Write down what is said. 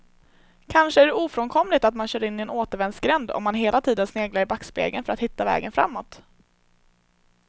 Kanske är det ofrånkomligt att man kör in i en återvändsgränd om man hela tiden sneglar i backspegeln för att hitta vägen framåt.